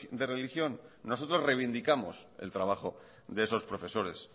de religión nosotros reivindicamos el trabajo de esos profesores